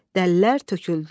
Dəlilər töküldülər.